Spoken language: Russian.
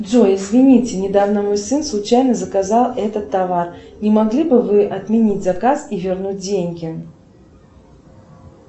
джой извините недавно мой сын случайно заказал этот товар не могли бы вы отменить заказ и вернуть деньги